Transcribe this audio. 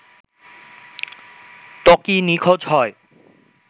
ত্বকী নিখোঁজ হয়